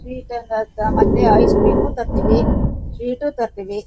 Sweet ತಂದ್ ಆಯ್ತಾ ಮತ್ತೆ ಐಸ್ ಕ್ರೀಮ್ ತರ್ತೀವಿ ಸ್ವೀಟ್ ತರ್ತೀವಿ.